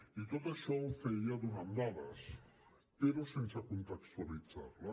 i tot això ho feia donant dades però sense contextualitzar les